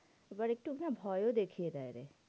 এবার একটু না ভয়ও দেখিয়ে দেয় রে।